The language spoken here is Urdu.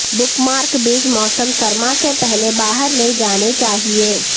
بک مارک بیج موسم سرما سے پہلے باہر لے جانے چاہئے